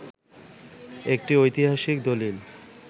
একটি ঐতিহাসিক দলিল